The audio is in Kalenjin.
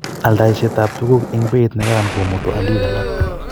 Oldoishetab tuguk eng beit nekararan komutu olik alak